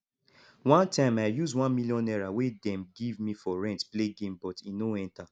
one time i use 1 million naira wey dem give me for rent play game but e no enter